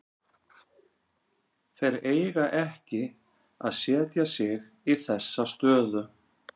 Þeir eiga ekki að setja sig í þessa stöðu.